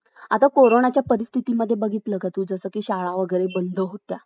आता Corona च्या परिस्थितीमध्ये बघितलं का तू जसं की शाळा वगैरे बंद होत्या